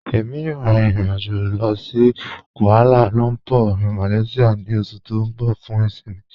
Ẹ̀mi yóò rín ìrìn-àjọ̀ lọ sí Kuala Lumpur, Malaysia ni oṣù tí n bọ̀ fún ìṣinmí.